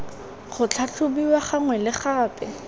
go tlhatlhobiwa gangwe le gape